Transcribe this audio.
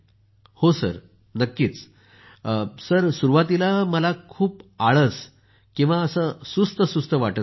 हो सर नक्कीच सर सुरुवातीला मला खूप आळस सुस्त सुस्त वाटतहोतं